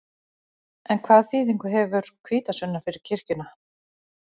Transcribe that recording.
En hvaða þýðingu hefur hvítasunnan fyrir kirkjuna?